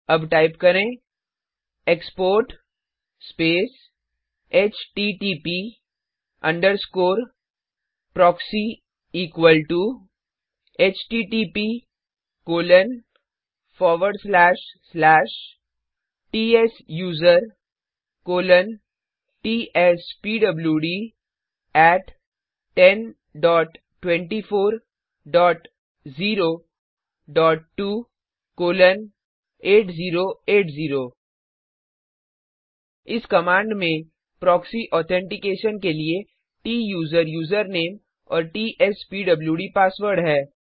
अब टाइप करें export space HTTP underscore proxy equal to httptsusertspwd1024028080 इस कमाण्ड में प्रॉक्सी ऑथेंटिकेशन के लिए त्सुसेर यूजरनेम और टीएसपीडब्ल्यूड पासवर्ड है